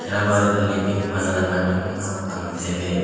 ಕೆಳಭಾಗದಲ್ಲಿ ಪಿಂಕ್ ಬಣ್ಣದ ಮ್ಯಾಟನ್ನು ನಾವು ಕಾಣುತ್ತೇವೆ.